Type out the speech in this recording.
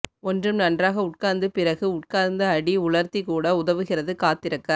ஒன்றும் நன்றாக உட்கார்ந்து பிறகு உட்கார்ந்து அடி உலர்த்தி கூட உதவுகிறது காத்திருக்க